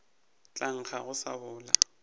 tla nkga go se sebodi